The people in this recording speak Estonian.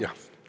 Vabandust!